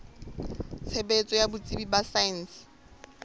tshebetso ya botsebi ba saense